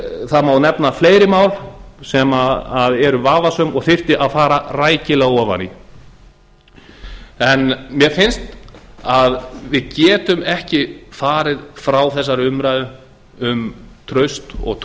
það má nefna fleiri mál sem eru vafasöm og þyrfti að fara rækilega ofan í en mér finnst að við getum ekki farið frá þessari umræðu um traust og